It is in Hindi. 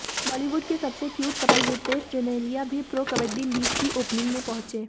बॉलीवुड के सबसे क्यूट कपल रितेश जेनेलिया भी प्रो कबड्डी लीग की ओपनिंग में पहुंचे